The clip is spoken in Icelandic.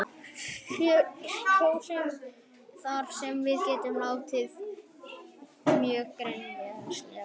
Kjósandi þarf þá að geta látið mjög greinilega í ljós hvað hann hyggst kjósa.